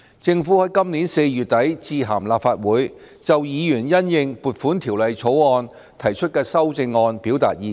政府在今年4月底致函立法會，就議員因應《條例草案》提出的修正案表達意見。